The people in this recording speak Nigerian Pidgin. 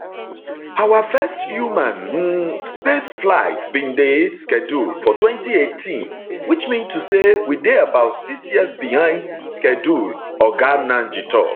our first human um space flight bin dey scheduled for 2018 which mean to say we dey about six years behind schedule oga nnaji tok